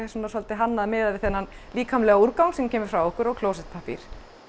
hannað miðað við þennan líkamlega úrgang sem kemur frá okkur og klósettpappír